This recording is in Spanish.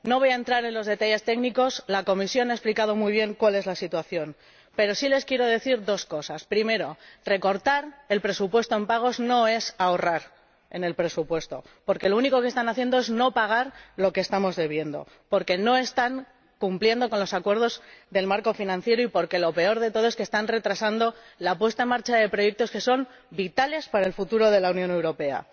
No voy a entrar en los detalles técnicos —la Comisión ha explicado muy bien cuál es la situación—, pero sí les quiero decir dos cosas primero, recortar el presupuesto en pagos no es ahorrar en el presupuesto, porque lo único que están haciendo es no pagar lo que estamos debiendo, porque no están cumpliendo con los acuerdos del marco financiero y porque lo peor de todo es que están retrasando la puesta en marcha de proyectos que son vitales para el futuro de la Unión Europea.